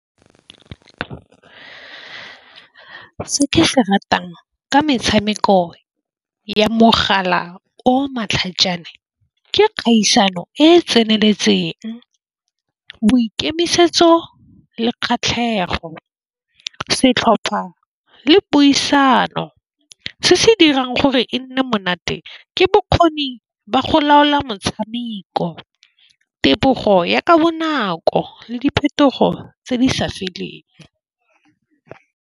Se ke se ratang ka metshameko ya mogala o matlhajana ke kgaisano e e tseneletseng. Boikemisetso le kgatlhego setlhopha le puisano se se dirang gore se nne monate ke bokgoni ba go laola motshameko tebogo ya ka bonako le diphetogo tse di sa feleng.